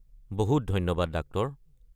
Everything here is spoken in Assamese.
বহুত ধন্যবাদ ডাক্টৰ।